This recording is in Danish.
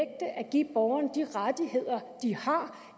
give borgerne de rettigheder de har